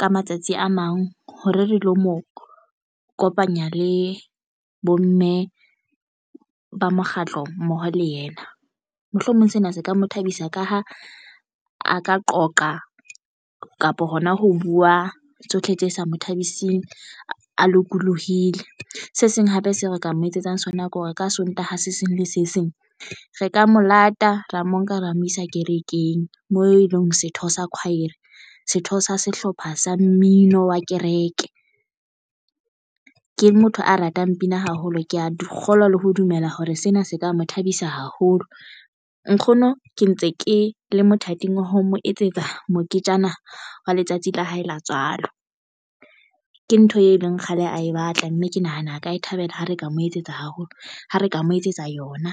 ka matsatsi a mang hore re lo mo kopanya le bomme ba mokgatlo mmoho le yena. Mohlomong sena se ka mo thabisa ka ha a ka qoqa kapo hona ho buwa tsohle tse sa mo thabising a lokollohile. Se seng hape se re ka mo etsetsang sona ke hore ka sontaha se seng le se seng re ka mo lata ra mo nka ra mo isa kerekeng. Mo e leng setho sa choir setho sa sehlopha sa mmino wa kereke ke motho a ratang pina haholo ke ya di kgolwa le ho dumela hore sena se ka mo thabisa haholo nkgono ke ntse ke le mothating wa ho mo etsetsa moketjana wa letsatsi la hae la tswalo ke ntho e leng kgale a e batla, mme ke nahana a ka e thabela. Ha re ka mo etsetsa haholo ha re ka mo etsetsa yona.